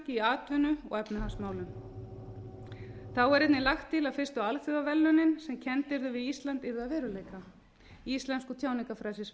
í atvinnu og efnahagsmálum þá er einnig lagt til að fyrstu alþjóðaverðlaunin sem kennd yrðu við ísland yrðu að veruleika íslensku tjáningarfrelsisverðlaunin meginþorri heimspressunnar er í þann mund að